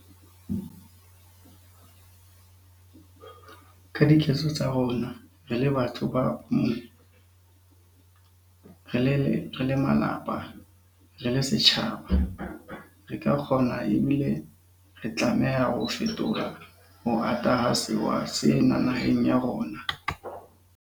Ka diketso tsa rona, re le batho ka bomong, re le malapa, re le setjhaba, re ka kgona ebile re tlameha ho fetola ho ata ha sewa sena naheng ya rona.